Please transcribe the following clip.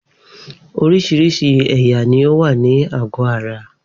Oríṣiríṣi ẹ̀yà ni ó wà ní àgọ́ ara